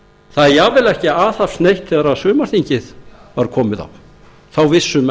það er jafnvel ekki aðhafst neitt þegar sumarþingið var komið á þá vissu menn